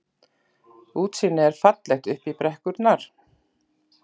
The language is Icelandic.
Útsýnið er fallegt upp í brekkurnar.